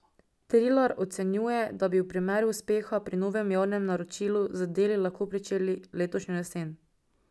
Trilar ocenjuje, da bi v primeru uspeha pri novem javnem naročilu z deli lahko pričeli letošnjo jesen.